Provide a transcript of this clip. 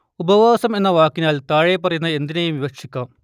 ഉപവാസം എന്ന വാക്കിനാൽ താഴെപ്പറയുന്ന എന്തിനേയും വിവക്ഷിക്കാം